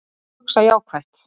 Að hugsa jákvætt